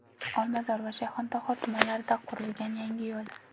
Olmazor va Shayxontohur tumanlarida qurilgan yangi yo‘l.